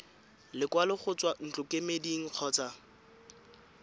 lekwalo go tswa ntlokemeding kgotsa